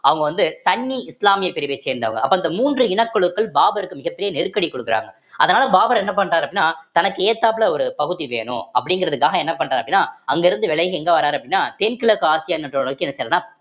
அவங்க வந்து தண்ணி இஸ்லாமியப் பிரிவைச் சேர்ந்தவங்க அப்ப இந்த மூன்று இனக்குழுக்கள் பாபருக்கு மிகப் பெரிய நெருக்கடி கொடுக்கிறாங்க அதனால பாபர் என்ன பண்றாரு அப்படின்னா தனக்கு ஏத்தாப்புல ஒரு பகுதி வேணும் அப்படிங்கிறதுக்காக என்ன பண்றாரு அப்படின்னா அங்கிருந்து விலகி எங்க வர்றாரு அப்படின்னா தென் கிழக்கு ஆசியா நாட்டோட வச்சு என்ன செய்யலாம்ன்னா